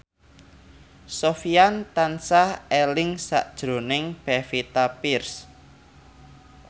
Sofyan tansah eling sakjroning Pevita Pearce